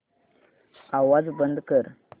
आवाज बंद कर